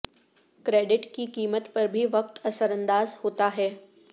credit کی قیمت پر بھی وقت اثر انداز ہوتا ہے